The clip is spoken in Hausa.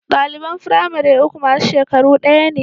Ɗaliban firamare uku masu shekaru ɗaya ne